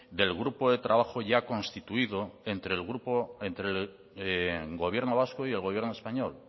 del grupo de trabajo ya constituido entre el gobierno vasco y el gobierno español